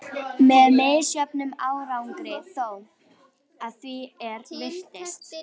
Með misjöfnum árangri þó, að því er virtist.